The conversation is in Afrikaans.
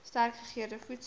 sterk gegeurde voedsel